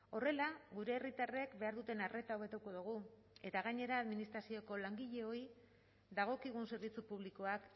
horrela gure herritarrek behar duten arreta hobetuko dugu eta gainera administrazioko langileoi dagokigun zerbitzu publikoak